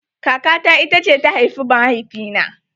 Kaka ta ita ce ta haifi mahaifi na